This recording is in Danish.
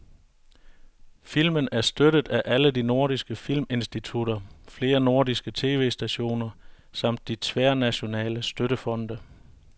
Filmen er støttet af alle de nordiske filminstitutter, flere nordiske tv-stationer samt de tværnationale støttefonde.